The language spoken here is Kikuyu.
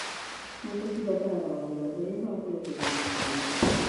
Ngũkũ cibataraga handũ hatheru ha kũrekeria matumbĩ.